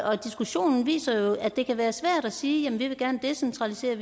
og diskussionen viser jo at det kan være svært ene side at ville decentralisere